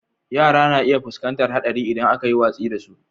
Yara na iya fuskantar haɗari idan aka yi watsi da su.